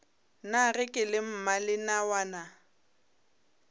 na ge ke le mmalenawana